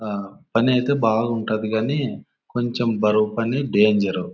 ఆ పని అయితే బాగుంటాది గాని కొంచెం బరువు పని డెంజరు .